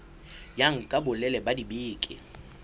ya nka bolelele ba dibeke